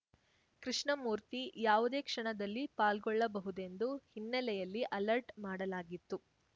ಕೃಷ್ಣಮೂರ್ತಿ ಯಾವುದೇ ಕ್ಷಣದಲ್ಲಿ ಪಾಲ್ಗೊಳ್ಳಬಹುದೆಂದು ಹಿನ್ನೆಲೆಯಲ್ಲಿ ಅಲರ್ಟ ಮಾಡಲಾಗಿತ್ತು